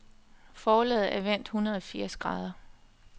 Forlaget er vendt hundrede firs grader.